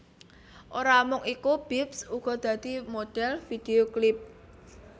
Ora mung iku Bips uga dadi modhèl vidhéo klip